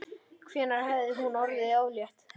Hvenær hafði hún orðið ólétt?